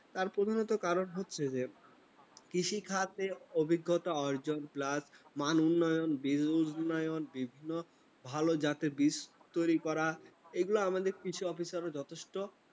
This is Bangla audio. তার প্রধানত কারণ হচ্ছে যে, কৃষিখাতে অভিজ্ঞতা অর্জন plus মান উন্নয়ন, bill উন্নয়ন, বিভিন্ন ভাল জাতের বীজ তৈরি করা। এগুলো আমাদের কিছু officer যথেষ্ট